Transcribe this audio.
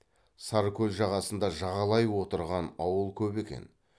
саркөл жағасында жағалай отырған ауыл көп екен